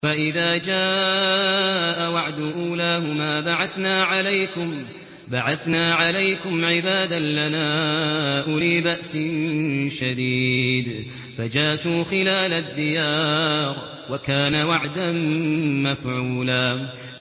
فَإِذَا جَاءَ وَعْدُ أُولَاهُمَا بَعَثْنَا عَلَيْكُمْ عِبَادًا لَّنَا أُولِي بَأْسٍ شَدِيدٍ فَجَاسُوا خِلَالَ الدِّيَارِ ۚ وَكَانَ وَعْدًا مَّفْعُولًا